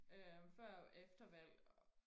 øh før og efter valg